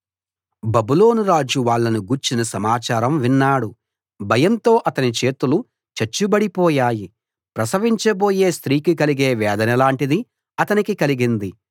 బబులోను రాజు వాళ్ళను గూర్చిన సమాచారం విన్నాడు భయంతో అతని చేతులు చచ్చుబడి పోయాయి ప్రసవించ బోయే స్త్రీకి కలిగే వేదన లాంటిది అతనికి కలిగింది